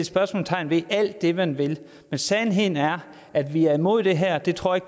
spørgsmålstegn ved alt det man vil men sandheden er at vi er imod det her det tror jeg